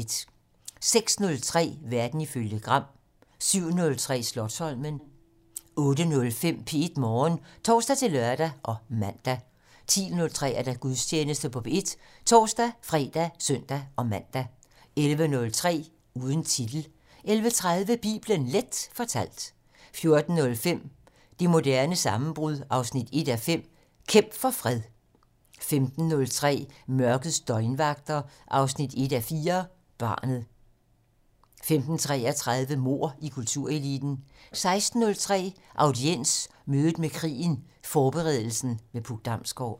06:03: Verden ifølge Gram 07:03: Slotsholmen 08:05: P1 Morgen (tor-lør og man) 10:03: Gudstjeneste på P1 (tor-fre og søn-man) 11:03: Uden titel 11:30: Bibelen Leth fortalt 14:05: Det moderne sammenbrud 1:5 - Kæmp for fred 15:03: Mørkets døgnvagter 1:4 - Barnet 15:33: Mord i kultureliten 16:03: Audiens: Mødet med krigen - Forberedelsen med Puk Damsgård